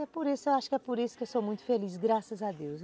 É, acho que é por isso que eu sou muito feliz, graças a Deus.